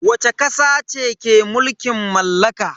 Wacce kasa ce ke mulkin mallaka?